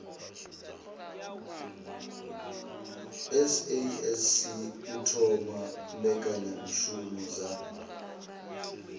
sasc u thoma mbekanyamishumo dza